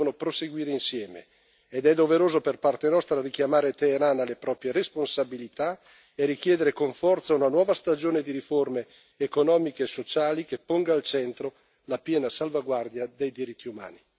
Ruolo politico e rispetto dei diritti umani devono proseguire insieme ed è doveroso, da parte nostra, richiamare Teheran alle proprie responsabilità e richiedere con forza una nuova stagione di riforme economiche e sociali che ponga al centro la piena salvaguardia dei diritti umani.